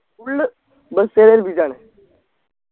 full bus കാരെ ഏൽപിച്ചാണ്